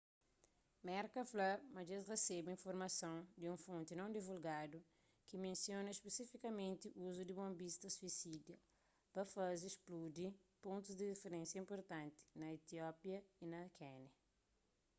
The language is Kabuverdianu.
merka fla ma dje-s resebe informason di un fonti non divulgadu ki mensiona spesifikamenti uzu di bonbistas suisida pa faze spludi pontus di rifirénsia inpurtanti na etiópia y na kénia